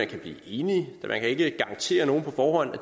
kan blive enig man kan ikke garantere nogen på forhånd at